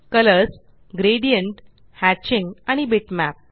colours gradient hatching आणि bitmap